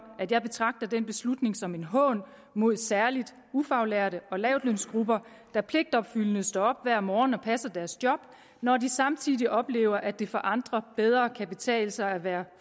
at jeg betragter den beslutning som en hån mod særlig ufaglærte og lavtlønsgrupper der pligtopfyldende står op hver morgen og passer deres job når de samtidig oplever at det for andre bedre kan betale sig at være